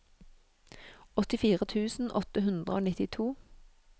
åttifire tusen åtte hundre og nittito